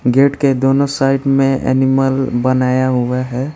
Gate के दोनों side में एनिमल बनाया हुआ है।